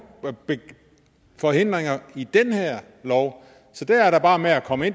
forhindringer i den her lov så det er da bare med at komme